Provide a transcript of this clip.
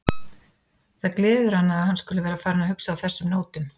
Það gleður hana að hann skuli vera farinn að hugsa á þessum nótum.